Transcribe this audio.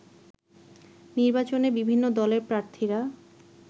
নির্বাচনে বিভিন্ন দলের প্রার্থীরা